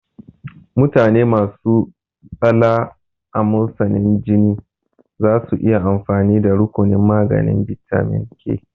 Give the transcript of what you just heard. Mutane masu tsala amosanin jini zasu iya amfani da rukunin maganin bitamin K